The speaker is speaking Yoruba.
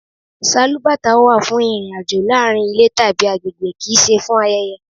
Sálúbàtà wà fún ìrìn-àjò láàárín ilé tàbí àgbègbè, kì í ṣe fún ayẹyẹ.